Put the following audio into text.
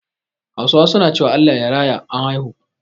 Hausawa su na cewa "Allah ya raya " an haihu